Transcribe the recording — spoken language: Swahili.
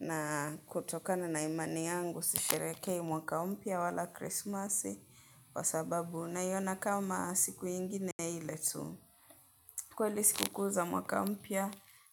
na kutokana na imani yangu sisherehekei mwaka mpya wala Krismasi kwa sababu naiona kama siku ingine ile tu. Kweli siku kuu za mwaka mpya